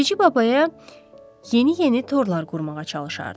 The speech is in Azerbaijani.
Bilici babaya yeni-yeni torlar qurmağa çalışardı.